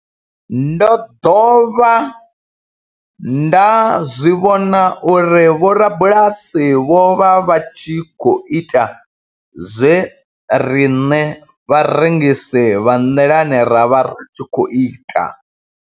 Ndo ḓovha nda zwi vhona uri vhorabulasi vho vha vha tshi khou ita zwe riṋe vharengisi vha nḓilani ra vha ri tshi khou ita.